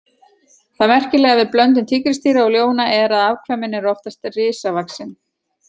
Það merkilega við blöndun tígrisdýra og ljóna er að afkvæmin eru oftast risavaxin.